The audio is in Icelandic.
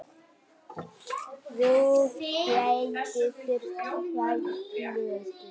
Þið gætuð þurft tvær plötur.